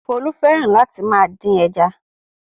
Folú fẹ́ràn láti máa dín ẹja.